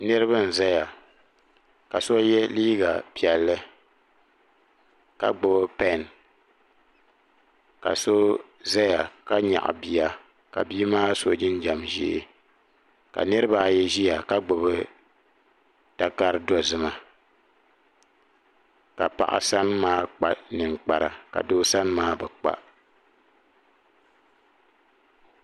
Niriba n zaya ka so ye liiga piɛlli ka gbibi pen ka so zaya ka nyaɣi bia ka bia maa so jinjiɛm ʒee ka niriba ayi ʒia ka gbibi takari dozima ka paɣa sani maa kpa ninkpara ka doo sani maa bi kpa.